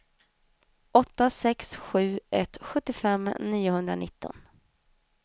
åtta sex sju ett sjuttiofem niohundranitton